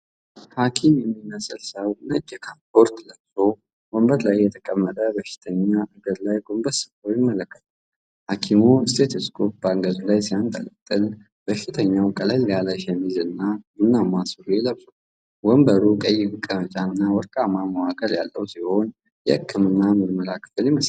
ሐኪም የሚመስል ሰው ነጭ ካፖርት ለብሶ ወንበር ላይ የተቀመጠ በሽተኛ እግር ላይ ጎንበስ ብሎ ይመለከታል። ሐኪሙ ስቴቶስኮፕ በአንገቱ ላይ ሲያንጠለጥል፤ በሽተኛው ቀለል ያለ ሸሚዝ እና ቡናማ ሱሪ ለብሷል። ወንበሩ ቀይ መቀመጫና ወርቃማ መዋቅር ያለው ሲሆን፤ የሕክምና ምርመራ ክፍል ይመስላል።